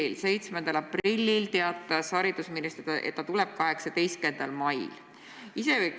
Selle peale 7. aprillil teatas haridusminister, et ta tuleb 18. mail.